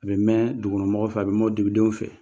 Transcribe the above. A bɛ mɛn dugukɔnɔmɔgɔw fɛ a bɛ mɛn dugudenw fɛ